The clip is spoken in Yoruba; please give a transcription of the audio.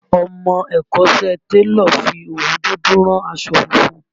Ọmọ ẹ̀kọ́ṣẹ́ télọ̀ fi òwú dúdú rán aṣọ funfun